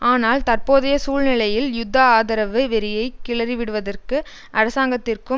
ஆனால் தற்போதைய சூழ்நிலையில் யுத்த ஆதரவு வெறியை கிளறிவிடுவதற்கு அரசாங்கத்திற்கும்